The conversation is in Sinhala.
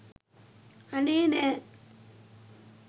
අනේ නෑ